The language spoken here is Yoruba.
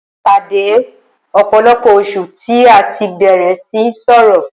A pàdé lẹ́yìn ọ̀pọ̀lọpọ̀ oṣù tí a tí bẹ̀rẹ̀ síí sọrọ̀.